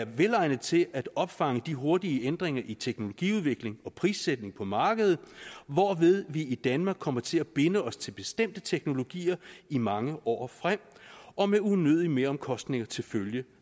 velegnet til at opfange de hurtige ændringer i teknologiudvikling og prissætning på markedet hvorved vi i danmark kommer til at binde os til bestemte teknologier i mange år frem og med unødige meromkostninger til følge